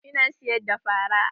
Ina siyar da fara.